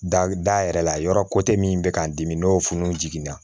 Da yɛrɛ la yɔrɔ min bɛ k'an dimi n'o fununna